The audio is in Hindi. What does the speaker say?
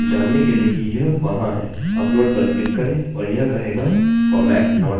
अपलोड पर क्लिक करें और यह कहेगाformat not allowed